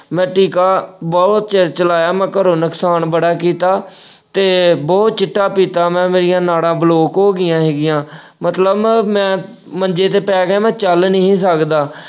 ਮੈਂ ਟੀਕਾ ਬਹੁਤ ਚਿਰ ਚਲਾਇਆ ਮੈਂ ਘਰੋਂ ਨੁਕਸਾਨ ਬੜਾ ਕੀਤਾ ਤੇ ਬਹੁਤ ਚਿੱਟਾ ਪੀਤਾ ਮੈਂ, ਮੇਰੀਆਂ ਨਾੜਾਂ block ਹੋ ਗਈਆਂ ਸੀਗੀਆਂ ਮਤਲਬ ਮੈਂ ਅਹ ਮੈਂ ਮੰਜੇ ਤੇ ਪੈ ਗਿਆ, ਮੈਂ ਚੱਲ ਨਹੀਂ ਸੀ ਸਕਦਾ।